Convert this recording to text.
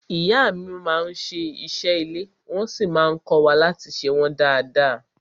Ìyá mi má n ṣe ìṣe ilé wọ́n sí má n kọ́wa láti ṣe wọ́n dada.